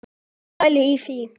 Pælið í því!